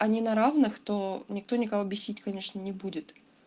они на равных то никто никого бесить конечно не будет